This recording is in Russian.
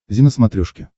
зи на смотрешке